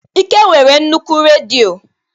Ike nwere nnukwu redio.